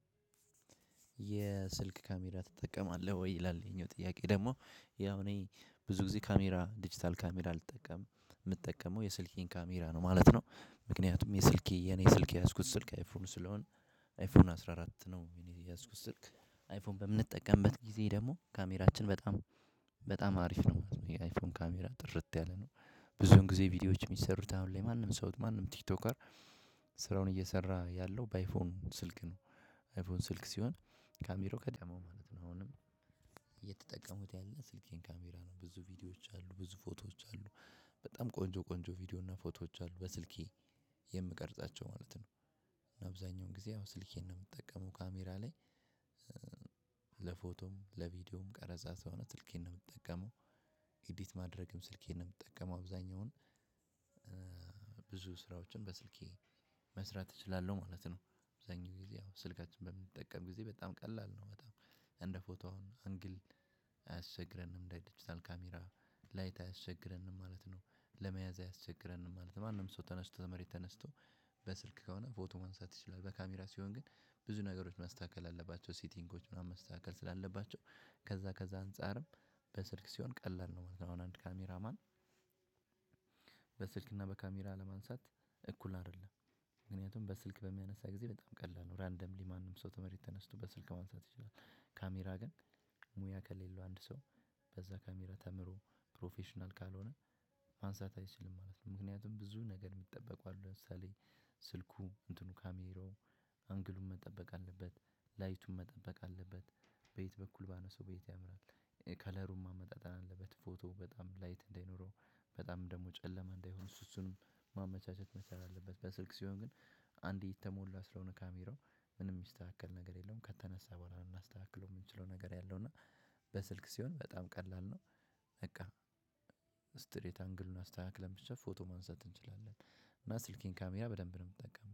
የስልክ ካሜራ ትጠቀማለህ ወይ ይላል? ይሄኛው ጥያቄ ደግሞ ያው እኔ ብዙ ጊዜ ካሜራ ድጅታል ካሜራ አልጠቀምም የምጣመው የስልኬን ካሜራ ነው ማለት ነው። ምክንያቱም የስልኬ የእኔ ስልክ ያዝኩት ስልክ አይፎን ስለሆነ አይፎን አስራ አራት ነው የኔ የያዝኩት ስልክ አይፎን በምንጠቀምበት ጊዜ ደግሞ ካሜራችን በጣም በጣም አሪፍ ነው ማለት ነው የአይፎን ካሜራ ጥርት ያለ ነው። ብዙን ጊዜ ቪዲዮዎች የሚሰሩት አሁን ላይ ማንም ሰው ማንም ቲክቶከር ስራውን እየሰራ ያለው በአይፎን ስልክ ነው። አይፎን ስልክ ሲሆን ካሜራው ቀደመው ማለት ነው። አሁንም የተጠቀምኩት ያለው የስልኬን ካሜራ ነው ብዙ ቪድዬች አሉ ብዙ ፎቶች አሉ። በጣም ቆንጆ ቆንጆ ቪዲዮ እና ፎቶዎች አሉ በስልኬ የምቀርጻቸው ማለት ነው። አብዛኛውን ጊዜ ስልኬን ነው የምጠቀመው ካሜራ ላይ። ለፎቶም ለቪዲዮም ቀረጻ እውነት ስልኬን ነው የምጠቀመው። ኢዲት ማድረግም ስልኬን ነው የምጠቀመው አብዛኛውን ብዙ ስራዎችን በስልኬ መስራት እችላለሁ ማለት ነው። አብዛኛው ጊዜ ያው ስልካችን በምንጠቀም ጊዜ በጣም ቀላል ነው በጣም እንደ ፎቶ አሁን አንግል አያስቸግረንም እንደ ዲጂታል ካሜራ ላይት አያስቸግረንም ማለት ነው። ለመያዝ አያስቸግረንም ማለት ነው ማንም ሰው ተነስቶ ተመሬት ተነስቶ በስልክ ከሆነ ፎቶ ማንሳት ትችላለህ። በካሜራ ሲሆን ግን ብዙ ነገሮች ማስተካከል አለባቸው ሰትንጎች ምናምን ማስተካከል ስላለባቸው ከዛ ከዛ አንፃርም በስልክ ሲሆን ቀላል ነው ማለት ነው። አሁን አንድ ካሜራ ማን በስልክና በካሜራ ለማንሳት እኩል አይደለም። ምክንያቱም በስልክ በሚያነሳ ጊዜ በጣም ቀላል ነው ራንደምሊ ማንም ሰው ተመረት ተነስቶ በስልክ ማንሳት ይችላል። ካሜራ ግን ሙያ ከሌለው አንድ ሰው በዛ ካሜራ ተምሮ ፕሮፌሽናል ካልሆነ ማንሳት አይችልም ማለት ነው። ምክንያቱም ብዙ ነገር የምጠበቁ አሉ ለምሳሌ ስልኩ እንትኑ ካሜራው አንግሉ መጠበቅ አለበት። ላይቱ መጠበቅ አለበት። በየት በኩል ባነሳው በየት ያምራል። ከለሩን ማመጣጠን አለበት ፎቶ በጣም ላይት እንዳይኖረው በጣም ደግሞ ጨለማ እንዳይሆን እሱ እሱንም ማመቻቸት መቻል አለበት። በስልክ ሲሆን ግን አንዴ የተሞላ ስለሆነ ካሜራው ምንም የሚስተካከል ነገር የለውም ከተነሳ በኋላ እናስተካክለው የምንችለው ነገር ያለው እና በስልክ ሲሆን በጣም ቀላል ነው። በቃ ስትሬት አንግሉን አስተካክለን ብቻ ፎቶ ማንሳት እንችላለን። እና ስልኬን ካሜራ በደንብ ነው የምትጠቀመው